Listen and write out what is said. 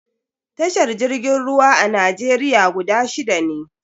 Tashar jirgin ruwa a Najeriya guda shida ne.